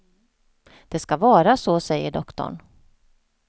Det ska vara så, säger doktorn.